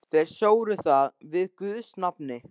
Þeir sóru það við guðs nafn.